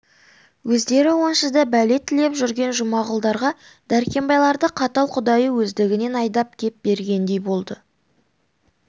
өздері онсыз да бәле тілеп жүрген жұмағұлдарға дәркембайларды қатал құдайы өздігінен айдап кеп бергендей болды